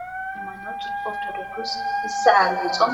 ኣብ ሃይማኖት ኦርቶዶክስ እቲ ዝዓበየ ፆም